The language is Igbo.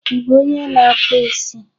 Ị bụ onye na-akpụ isi?